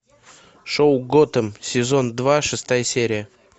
шоу готэм сезон два шестая серия